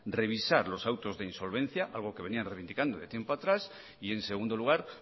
revisar los autos de insolvencia algo que venía reivindicando de tiempo atrás y en segundo lugar